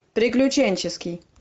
приключенческий